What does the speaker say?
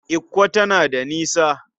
Ikko tana da nisa?